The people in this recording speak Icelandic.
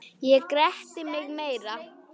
Ég gretti mig meira.